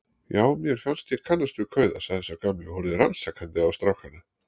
Já, mér fannst ég kannast við kauða sagði sá gamli og horfði rannsakandi á strákana.